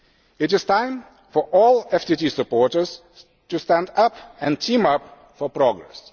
It is time for all FTT supporters to stand up and team up for progress.